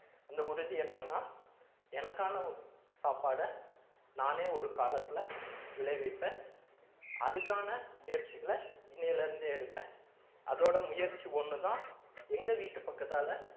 அந்த உறுதி என்னன்னா எனக்கான சாப்பாடை நானே ஒரு காலத்துல விளைவிப்பேன் அதுக்கான முயற்சிகளை இன்னையிலிருந்தே எடுப்பேன் அதோட முயற்சி ஒண்ணுதான் எங்க வீட்டு பக்கத்தால